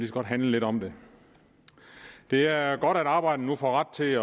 så godt handle lidt om det det er godt at arbejderne nu får ret til